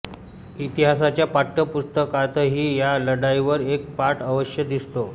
इतिहासाच्या पाठ्यपुस्तकातही या लढाईवर एक पाठ अवश्य दिसतो